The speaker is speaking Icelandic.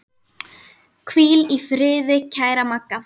Hvíl í friði kæra Magga.